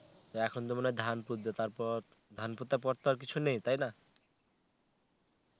তো এখন তো মনে হয় ধান পুতবে. তারপর ধান পোতার পর তো আর কিছু নেই তাই না?